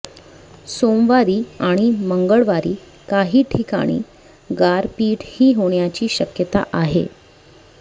सोमवारी आणि मंगळवारी काही ठिकाणी गारपीटही होण्याची शक्यता आहे